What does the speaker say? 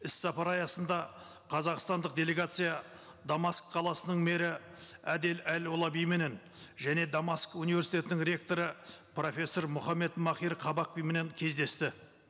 іс сапар аясында қазақстандық делегация дамаск қаласының мэрі әдел әл ұлаби менен және дамаск университетінің ректоры профессор мұхаммед махир қабақбименен кездесті